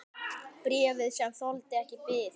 Bréfið, sem þoldi ekki bið